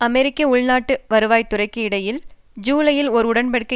அமெரிக்க உள்நாட்டு வருவாய்த்துறைக்கும் இடையில் ஜூலையில் ஓர் உடன் படிக்கை